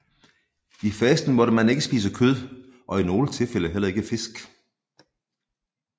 I fasten måtte man ikke spise kød og i nogle tilfælde heller ikke fisk